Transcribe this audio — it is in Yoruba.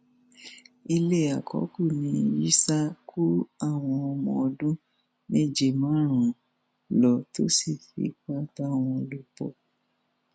ilé àkọkù ní yisa kó àwọn ọmọ ọdún méje márùnún lọ tó sì fipá bá wọn lò pọ